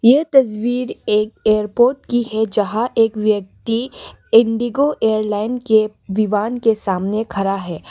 यह तस्वीर एक एयरपोर्ट की है जहां एक व्यक्ति इंडिगो एयरलाइन के विमान के सामने खरा है।